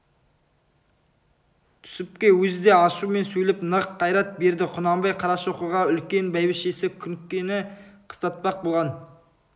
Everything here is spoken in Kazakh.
түсіпке өзі де ашумен сөйлеп нық қайрат берді құнанбай қарашоқыға үлкен бәйбішесі күнкені қыстатпақ болған